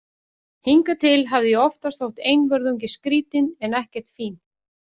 Hingað til hafði ég oftast þótt einvörðungu skrítin en ekkert fín.